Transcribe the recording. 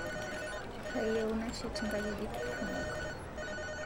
Kayieu nashet ng'ajijik kumo